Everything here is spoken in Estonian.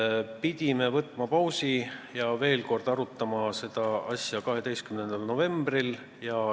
Siis pidime tegema pausi ja arutama seda asja veel kord 12. novembril.